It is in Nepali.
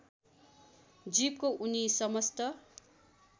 जीवको उनी समस्त